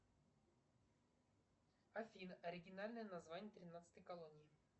афина оригинальное название тринадцатой колонии